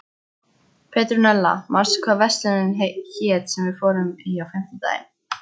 Petrúnella, manstu hvað verslunin hét sem við fórum í á fimmtudaginn?